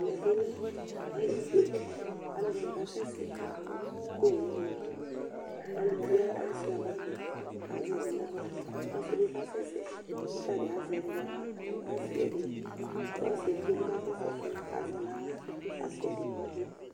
Ɛmɛ bɩ lɛ alɩbe Alʋɛdɩnɩ kasɛsɛ kʋ owu ma Aluvi wa asʋɩa bagɩ kʋ azɛ ɛdɩ nʋ aɣla kʋ ɔsɩ bɩ kasɛsɛ kʋ ɔta bɩ azɛ ɛdɩ nʋ aɣla kʋ asʋɩa ɛdɩ Ulu ɔsɩ edigbo bɩ kasɛsɛ kʋ azɛ nʋ aɣla kʋ asʋɩa ɛdɩ